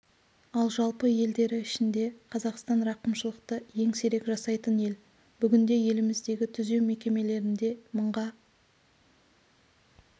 ал жалпы елдері ішінде қазақстан рақымшылықты ең сирек жасайтын ел бүгінде еліміздегі түзеу мекемелерінде мыңға